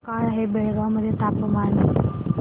काय आहे बेळगाव मध्ये तापमान